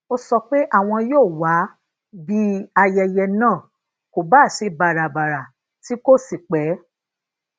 ó sọ pé àwọn yóò wá bí ayẹyẹ náà kò bá se babara ti ko si pé